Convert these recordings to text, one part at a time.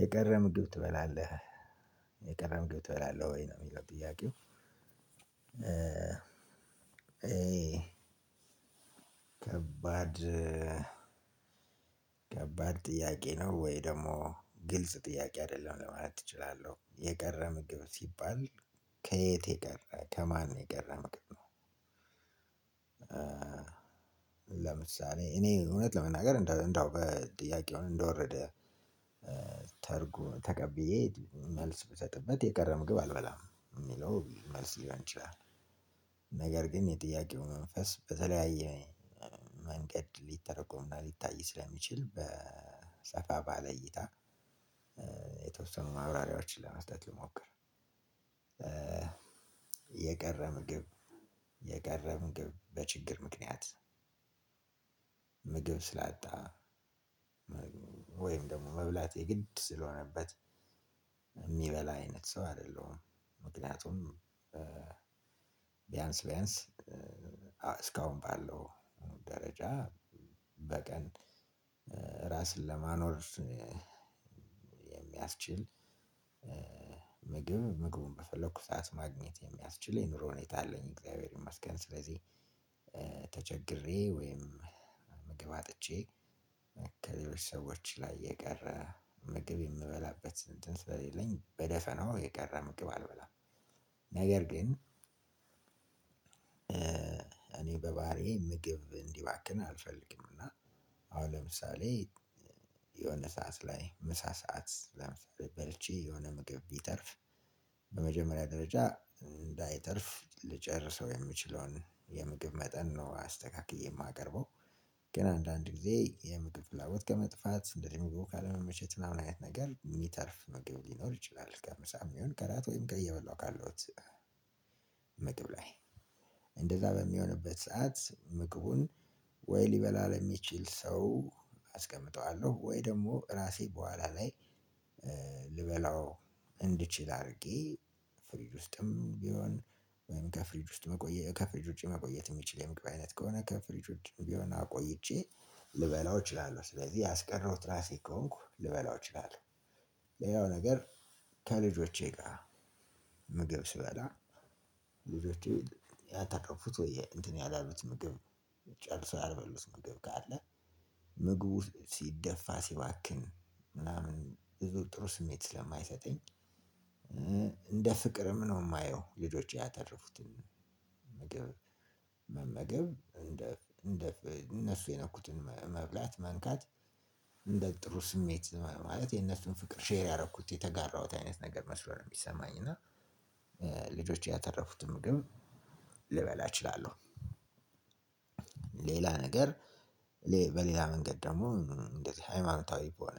የቀረ ምግብ ትበላለህ? የቀረ ምግብ ትበላለህ ወይ? ነው የሚለው ጥያቄው ከባድ ከባድ ጥያቄ ነው ወይ ደግሞ ግልጽ ጥያቄ አይደለም ማለት እችላለሁ። ለምሳሌ እኔ እውነት ለመናገር እንዳው እንደው በጥያቄው እንደወረደ ተርጉ ተቀብዬ መልስ ብሰጥበት የቀረ ምግብ አልበላም የሚለው መልስ ሊሆን ይችላል። ነገር ግን የጥያቄው መንፈስ በተለያየ መንገድ ሊተረጎምና ሊታይ ስለሚችል በ ሰፋ ባለ እይታ የተወሰኑ ማብራሪያዎችን ለመስጠት ልሞክር። የቀረ ምግብ፤ የቀረ ምግብ በችግር ምክንያት ምግብ ስላጣ ወይም ደግሞ መብላት የግድ ስለሆነበት የሚበላ አይነት ሰው አይደለሁም ምክንያቱም ቢያንስ ቢያንስ እስካሁን ባለው ደረጃ በቀን እራስን ለማኖር የሚያስችል ምግብ ምግቡን በፈለኩት ሰዓት ማግኘት የሚያስችል የኑሮ ሁኔታ አለኝ እግዚአብሔር ይመስገን። ስለዚህ ተቸግሬ ወይም ምግብ አጥቼ ከሰዎች ላይ የቀረ ምግብ የምበላበት እንትን ስሌለኝ በደፈናው የቀረ ምግብ አልበላም። ነገር ግን እኔ በባህሪዬ ምግብ እንዲባክን አልፈልግም እና አሁን ለምሳሌ የሆነ ሰዓት ላይ ምሳ ሰዓት ለምሳሌ በልቼ የሆነ ምግብ ቢተርፍ በመጀመሪያ ደረጃ እንዳይተርፍ ልጨርሰው የምችለውን የምግብ መጠን ነው አስተካክዬ የማቀርበው። ግን አንዳንድ ጊዜ የምግብ ፍላጎት ከመጥፋት፣ እንደዚህ ምግብ ካለመመቸት ምናምን አይነት ነገር የሚተርፍ ምግብ ሊኖር ይችላል ከምሳም ይሁን ከእራት ወይም እየበላሁ ካለሁት ምግብ ላይ እንደዛ በሚሆንበት ሰዓት ምግቡን ወይ ሊበላ ለሚችል ሰው አስቀምጠዋለሁ ወይ ደግሞ እራሴ በኋላ ላይ ልበላው እንድችል አድርጌ ፍሪጅ ውስጥም ቢሆን ወይም ከፍሪጅ ውስጥ መቆየት ከፍሪጅ ውጪ መቆየት የሚችል የምግብ አይነት ከሆነ ከፍሪጅ ውጪም ቢሆን አቆይቼ ልበላው እችላለሁ ስለዚህ ያስቀረሁት እራሴ ከሆንኩ ልበላው እችላለሁ። ሌላው ነገር ከልጆቼ ጋር ምግብ ስበላ ልጆቼ ያተረፉት ወይም እንትን ያላሉት ምግብ ጨርሶ ያልበሉት ምግብ ካለ ምግቡ ሲደፋ፤ ሲባክን ምናምን ብዙ ጥሩ ስሜት ስለማይሰጠኝ እንደ ፍቅርም ነው የማየው ልጆቼ ያተረፉት ምግብ መመገብ እንደ እንደ እነሱ የነኩትን መብላት፣ መንካት እንደ ጥሩ ስሜት ማለት የነሱን ፍቅር ሼር ያደረኩት፣ የተጋራሁት አይነት ነገር መስሎ ነው የሚሰማኝ እና ልጆቼ ያተረፉትን ምግብ ልበላ እችላለሁ። ሌላ ነገር በሌላ መንገድ ደግሞ እንደዚህ ሃይማኖታዊ በሆነ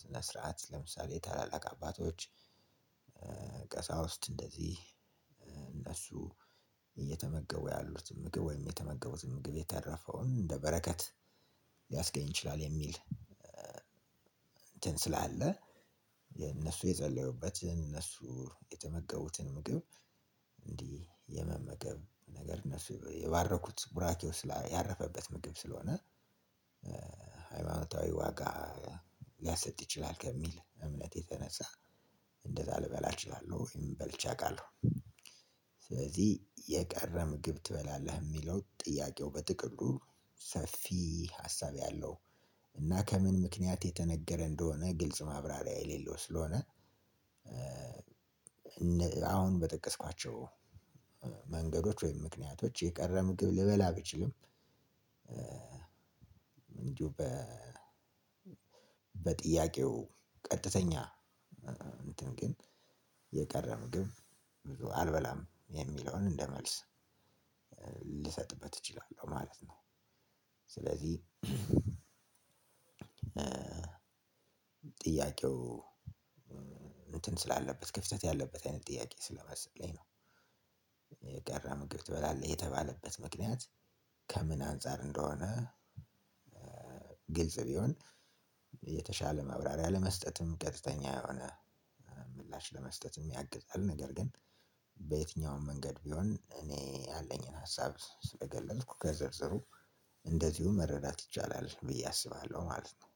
ስነ ስርዓት ለምሳሌ ታላላቅ አባቶች ቀሳውስት እንደዚህ እነሱ እየተመገቡ ያሉት ምግብ ወይም የተመገቡት ምግብ የተረፈውን እንደ በረከት ሊያስገኝ ይችላል የሚል እንትን ስላለ የእነሱ የጸለዩበት የእነሱ የተመገቡትን ምግብ እንዲህ የመመገብ ነገር እነሱ የባረኩት ቡራኬው ስላ ያረፈበት ምግብ ስለሆነ ሃይማኖታዊ ዋጋ ሊያሰጥ ይችላል ከሚል እምነት የተነሳ እንደዛ ልበላ እችላለሁ ወይም በልቼ አውቃለሁ። ስለዚህ የቀረ ምግብ ትበላለህ? የሚለው ጥያቄው በጥቅሉ ሰፊ ሀሳብ ያለው እና ከምን ምክንያት የተነገረ እንደሆነ ግልጽ ማብራሪያ የሌለው ስለሆነ አሁን በጠቀስኳቸው መንገዶች ወይም ምክንያቶች የቀረ ምግብ ልበላ ብችልም እንዲሁ በጥያቄው ቀጥተኛ እንትን ግን የቀረ ምግብ አልበላም የሚለውን እንደ መልስ ልሰጥበት እችላለሁ ማለት ነው። ስለዚህ ጥያቄው እንትን ስላለበት ክፍተት ያለበት አይነት ጥያቄ ስለመሰለኝ ነው። ምግብ ትበላለህ የተባለበት ምክንያት ከምን አንፃር እንደሆነ ግልጽ ቢሆን የተሻለ መብራሪያ ለመስጠትም ቀጥተኛ የሆነ ምላሽ ለመስጠትም የሚያግዛል፤ ነገር ግን በየትኛውም መንገድ ቢሆን እኔ ያለኝን ሀሳብ ስለገለጽኩ ከዝርዝሩ እንደዚሁ መረዳት ይቻላል ብዬ አስባለሁ ማለት ነው።